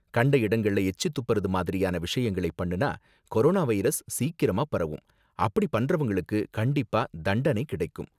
கண்ட இடங்கள்ல எச்சி துப்புறது மாதிரியான விஷயங்களை பண்ணுனா கொரோனா வைரஸ் சீக்கிரமா பரவும், அப்படி பண்றவங்களுக்கு கண்டிப்பா தண்டனை கிடைக்கும்.